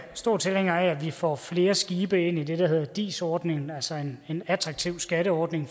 store tilhængere af at vi får flere skibe ind i det der hedder dis ordningen altså en attraktiv skatteordning